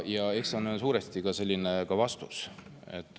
Ja eks see ongi suuresti vastus.